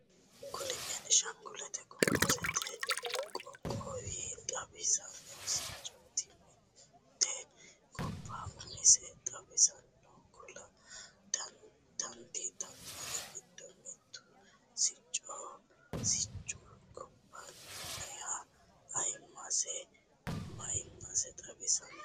Kuni benshangule gumuzete qoqqowo xawisano siccoti, mite goba umose xawisanna kulla danditanori gido mitu siccoho, siccu gobbaniha ayimasenna mayimase xawisano